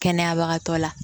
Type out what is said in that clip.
Kɛnɛyabagatɔ la